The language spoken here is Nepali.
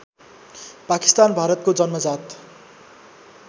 पाकिस्तान भारतको जन्मजात